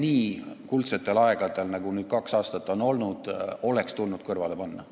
Nii kuldsetel aegadel, nagu nüüd kaks aastat on olnud, oleks tulnud kõrvale panna.